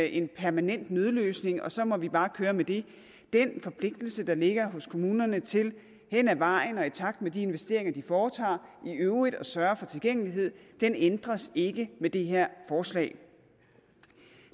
en permanent nødløsning og så må vi bare køre med det den forpligtelse der ligger hos kommunerne til hen ad vejen og i takt med de investeringer de foretager i øvrigt at sørge for tilgængelighed ændres ikke med det her forslag